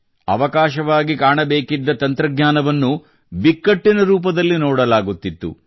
ಅವಕಾಶವಾಗಿ ಕಾಣಬೇಕಿದ್ದ ತಂತ್ರಜ್ಞಾನವನ್ನು ಬಿಕ್ಕಟ್ಟಿನ ರೂಪದಲ್ಲಿ ಕಾಣಲಾಗುತ್ತಿತ್ತು